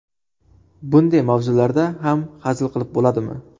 Bunday mavzularda ham hazil qilib bo‘ladimi?